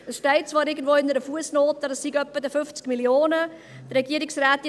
Es steht zwar irgendwo in einer Fussnote, es seien etwa 50 Mio. Franken.